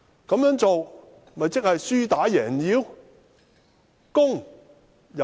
這樣做豈不是輸打贏要？